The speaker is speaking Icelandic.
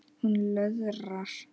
Hún löðrar.